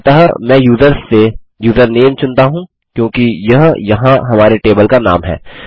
अतः मैं यूज़र्स से यूज़रनेम चुनता हूँ क्योंकि यह यहाँ हमारे टेबल का नाम है